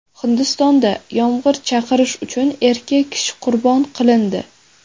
Hindistonda yomg‘ir chaqirish uchun erkak kishi qurbon qilindi.